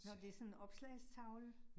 Nåh, det sådan en opslagstavle